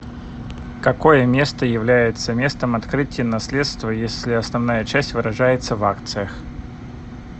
какое место является местом открытия наследства если основная часть выражается в акциях